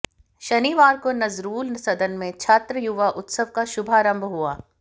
शनिवार को नजरूल सदन में छात्र युवा उत्सव का शुभारंभ हुआ